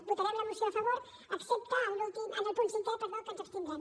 votarem la moció a favor excepte en el punt cinquè en què ens abstindrem